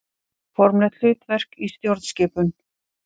Formlegt hlutverk í stjórnskipun.